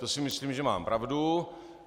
To si myslím, že mám pravdu.